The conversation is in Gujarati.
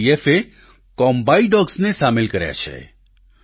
સીઆરપીએફ એ કોમ્બાઈ ડોગ્સને સામેલ કર્યા છે